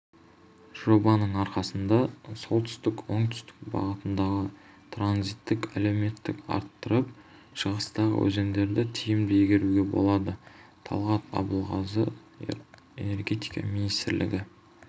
жобаның арқасыда солтүстік-оңтүстік бағытындағы транзиттік әлеуетті арттырып шығыстағы өзендерді тиімді игеруге болады талғат абылғазы энергетика министрлігі